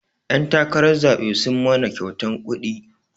Ƴan takarar zaɓe sun mana kyautan kuɗi